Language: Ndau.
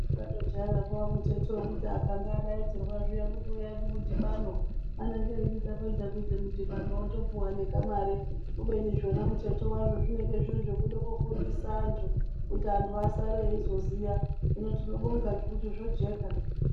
Takandojaira kuvamuteto wokuti akanga adaidzirwa zviya kuti uyai kumudhibano anenge eiti tapedza kuite mudhibanowo topuwa nekamare. Kubeni zvona muteto wazvo zvinenge zviri zvokuda kufundisa antu kuti antu asare eizoziya. Hino tinobonga ngekuti zvojeka.